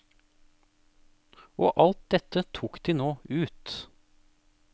Og alt dette tok de nå ut.